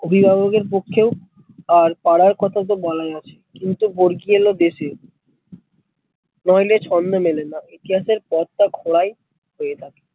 অভিভাবকের পক্ষে আর পাড়ার কথা তো বলাই আছে কিন্তু বর্গী এলো দেশে না হলে ছন্দ মেলে না ইতিহাসের পথটা খোলাই হয়ে থাকে